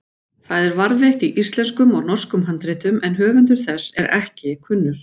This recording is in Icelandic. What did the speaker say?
Það er varðveitt í íslenskum og norskum handritum en höfundur þess er ekki kunnur.